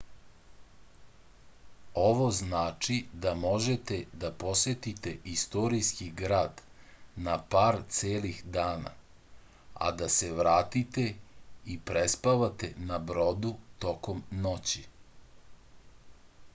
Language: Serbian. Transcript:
ovo znači da možete da posetite istorijski grad na par celih dana a da se vratite i prespavate na brodu tokom noći